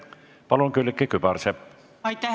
Palun, Külliki Kübarsepp!